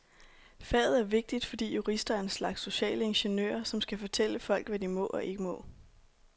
Faget er vigtigt, fordi jurister er en slags sociale ingeniører, som skal fortælle folk, hvad de må og ikke må.